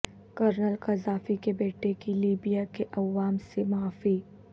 colonel Gaddafi کے بیٹے کی لیبیا کے عوام سے معافی